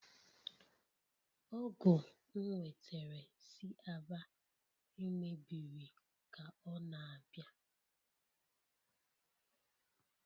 Ọgu nwetere si Aba lmebiri ka ọ na-abịa.